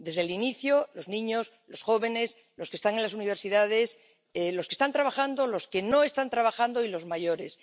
Desde el inicio, los niños, los jóvenes, los que están en las universidades, los que están trabajando, los que no están trabajando y los mayores.